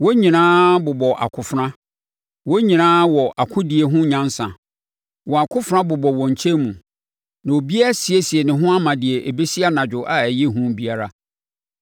Wɔn nyinaa bobɔ akofena, wɔn nyinaa wɔ akodie ho nyansa. Wɔn akofena bobɔ wɔn nkyɛn mu, na obiara asiesie ne ho ama deɛ ɛbɛsi anadwo a ɛyɛ hu biara.